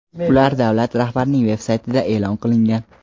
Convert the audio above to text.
ular davlat rahbarining veb-saytida e’lon qilingan.